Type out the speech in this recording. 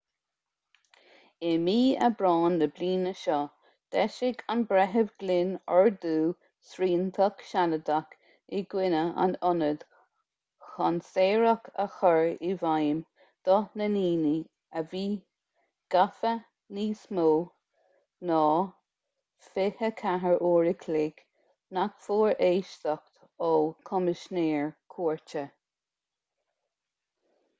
i mí aibreáin na bliana seo d'eisigh an breitheamh glynn ordú sriantach sealadach i gcoinne an ionaid chun saoradh a chur i bhfeidhm do na ndaoine a bhí gafa níos mó ná 24 uair an chloig nach bhfuair éisteacht ó choimisinéir cúirte